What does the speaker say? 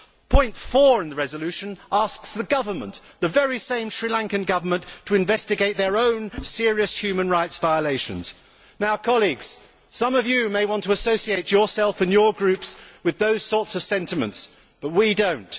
Paragraph 4 of the resolution asks the Government the very same Sri Lankan Government to investigate their own serious human rights violations. Colleagues, some of you may want to associate yourselves and your groups with those kinds of sentiments, but we do not.